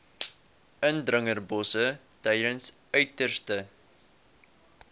indringerbosse tydens uiterste